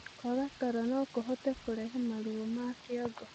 Kwaga toro nokũhote kũrehe maruo ma kĩongo